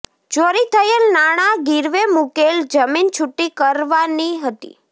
ચોરી થયેલ નાણાં ગીરવે મૂકેલ જમીન છૂટી કરાવવાની હતી